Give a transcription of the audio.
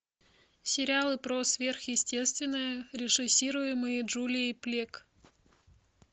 сериалы про сверхъестественное режиссируемые джулией плек